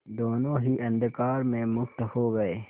दोेनों ही अंधकार में मुक्त हो गए